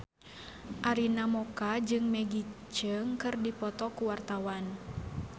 Arina Mocca jeung Maggie Cheung keur dipoto ku wartawan